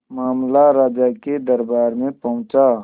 मामला राजा के दरबार में पहुंचा